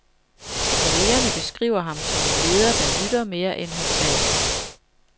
Kollegerne beskriver ham som en leder, der lytter mere, end han taler.